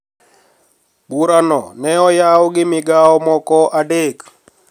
Burano ne oyaw gi migawo moko adek